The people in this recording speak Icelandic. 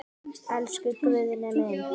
Elsku Guðni minn.